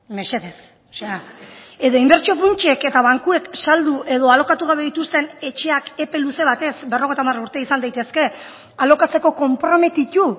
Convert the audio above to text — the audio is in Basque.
mesedez edo inbertsio funtsek eta bankuek saldu edo alokatu gabe dituzten etxeak epe luze batez berrogeita hamar urte izan daitezke alokatzeko konprometitu